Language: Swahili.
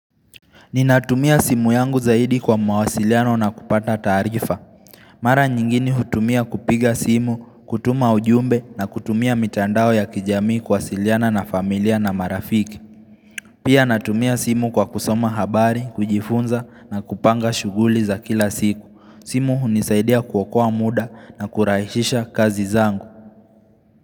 Ninatumia simu yangu zaidi kwa mawasiliano na kupata taarifa Mara nyingine hutumia kupiga simu, kutuma ujumbe na kutumia mitandao ya kijamii kuwasiliana na familia na marafiki Pia natumia simu kwa kusoma habari, kujifunza na kupanga shuguli za kila siku simu hunisaidia kuokoa muda na kurahisisha kazi zangu.